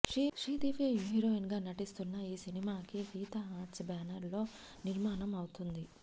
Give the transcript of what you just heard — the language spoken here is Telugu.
శ్రీదివ్య హీరోయిన్ గా నటిస్తున్న ఈ సినిమాని గీత ఆర్ట్స్ బ్యానర్లో నిర్మాణం అవుతుంది